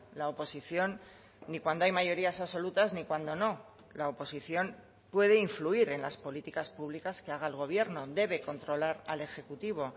la oposición ni cuando hay mayorías absolutas ni cuando no la oposición puede influir en las políticas públicas que haga el gobierno debe controlar al ejecutivo